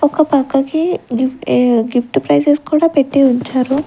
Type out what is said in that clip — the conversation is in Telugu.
ఒక పక్కకి గిప్ట్ ఏ గిప్ట్ ఫ్రైజెస్ కూడా పెట్టి ఉంచారు.